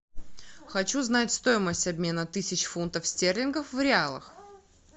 хочу знать стоимость обмена тысячи фунтов стерлингов в реалах